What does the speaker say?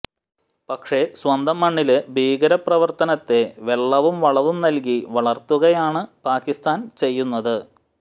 പക്ഷേ സ്വന്തം മണ്ണില് ഭീകര പ്രവര്ത്തനത്തെ വെള്ളവും വളവും നല്കി വളര്ത്തുകയാണ് പാക്കിസ്ഥാന് ചെയ്യുന്നത്